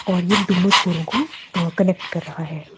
और ये दोनों छोरों को कनेक्ट कर रहा है।